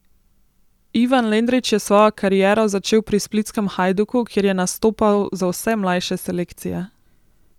Ivan Lendrić je svojo kariero začel pri splitskem Hajduku, kjer je nastopal za vse mlajše selekcije.